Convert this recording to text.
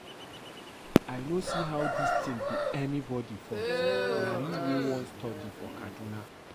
I no see how dis thing be anybody fault, na you wey wan study for Kaduna